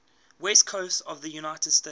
west coast of the united states